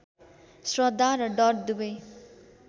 श्रद्धा र डर दुबै